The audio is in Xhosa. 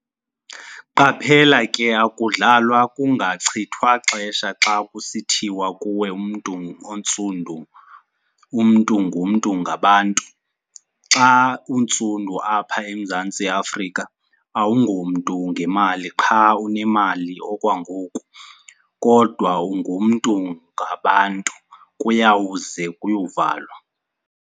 QAPHELA KE AKUDLALWA KUNGACHITHWA XESHA XA KUSITHIWA KUWE MNTU ONTSUNDU 'UMNTU NGUMNTU NGABANTU'. XA UNTSUNDU APHA EMZANTSI AFRIKA, AWUNGOMNTU NGEMALI QHA UNEMALI OKWANGOKU, KODWA 'UNGUMNTU NGABANTU, KUYAWUZE KUYOVALWA'.